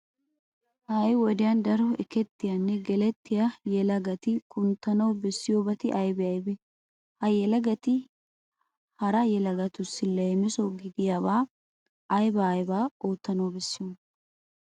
Ha"i wodiyan daro ekettiyanne gelettiya yelagati kunttana bessiyobati aybee aybee? Ha yelagati hara yelagtussi leemiso gidiyabaa aybaa aybaa oottana bessiyonaa?